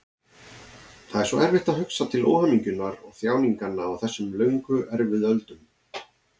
Það er svo erfitt að hugsa til óhamingjunnar og þjáninganna á þessum löngu erfiðu öldum.